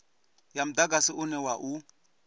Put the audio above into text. ya mudagasi une wa u